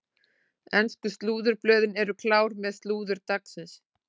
Ensku slúðurblöðin eru klár með slúður dagsins.